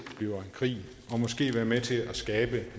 bliver en krig og måske være med til at skabe